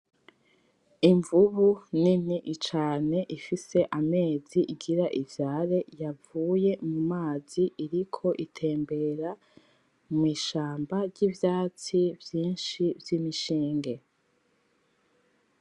Invubu nini cane ifise amezi igire ivyare yavuye mumazi iriko itembera mwishamba ry'ivyatsi vyishi vyimishinge.